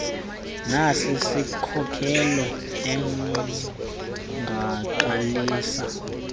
nasi siskhokelo ongaqalisa